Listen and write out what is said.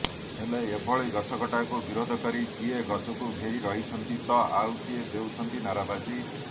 ହେଲେ ଏଭଳି ଗଛକଟାକୁ ବିରୋଧ କରି କିଏ ଗଛକୁ ଘେରି ରହିଛନ୍ତି ତ ଆଉ କିଏ ଦେଉଛନ୍ତି ନାରାବାଜି